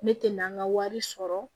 Ne tɛ na an ka wari sɔrɔ